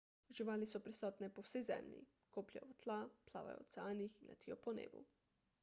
živali so prisotne po vsej zemlji kopljejo v tla plavajo v oceanih in letijo po nebu